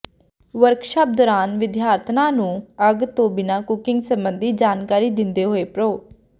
workshop ਦੌਰਾਨ ਵਿਦਿਆਰਥਣਾਂ ਨੂੰ ਅੱਗ ਤੋਂ ਬਿਨਾਂ ਕੁਕਿੰਗ ਸਬੰਧੀ ਜਾਣਕਾਰੀ ਦਿੰਦੇ ਹੋਏ ਪ੍ਰੋ